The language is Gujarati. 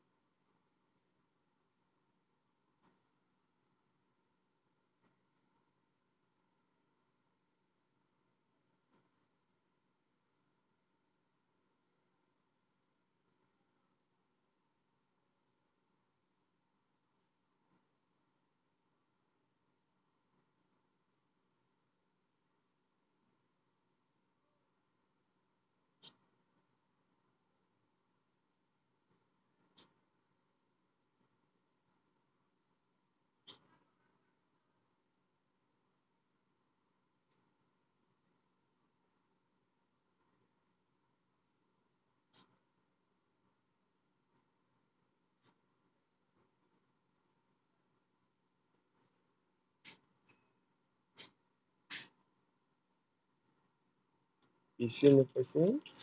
દીશેવર પેકુંન